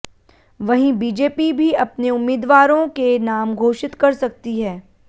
वहीं बीजेपी भी अपने उम्मीदवारों के नाम घोषित कर सकती है